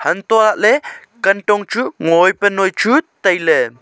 untoh lahley kantong chu ngo ae pa noi chu tailey.